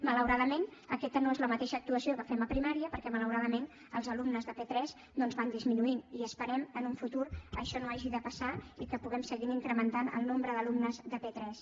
malauradament aquesta no és la mateixa actuació que fem a primària perquè malauradament els alumnes de p3 doncs van disminuint i esperem que en un futur això no hagi de passar i que puguem seguir incrementant el nombre d’alumnes de p3